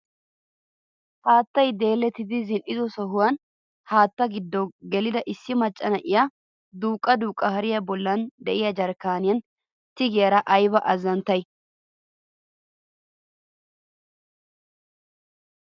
Haattay deellettidi zin"ido sohuwaan haatta giddo gelida issi macca na'iyaa duuqqa duuqqa hariyaa bolli de'iyaa jarkkaniyaan tigaydda de'iyaara ayba azzanttay!